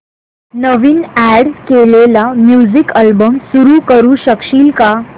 नवीन add केलेला music album सुरू करू शकशील का